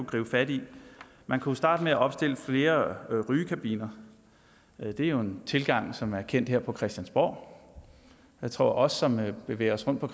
gribe fat i man kunne starte med at opstille flere rygekabiner det er jo en tilgang som er kendt her fra christiansborg jeg tror at vi som bevæger os rundt på